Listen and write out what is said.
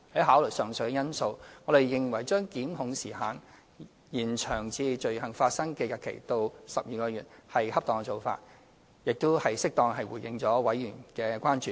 考慮到上述因素，我們認為延長檢控時效限制至罪行發生日期後12個月是恰當做法，並已適當地回應了委員的關注。